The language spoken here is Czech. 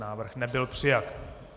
Návrh nebyl přijat.